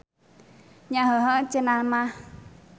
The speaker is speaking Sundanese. Nya heuheuh cenah mah.